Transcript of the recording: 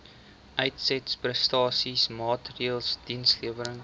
uitsetprestasie maatreëls dienslewerings